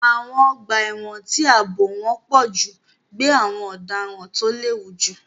Àwọn ọgbà ẹ̀wọ̀n tí ààbò wọn pọ̀ jù gbé àwọn ọ̀daràn tó léwu jù.